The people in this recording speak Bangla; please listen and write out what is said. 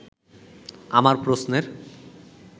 আমার প্রশ্নের